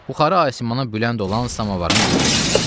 Buxarı asimana bülənd olan samovarın qulluğunda.